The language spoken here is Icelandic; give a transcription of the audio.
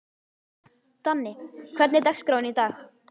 Danni, hvernig er dagskráin í dag?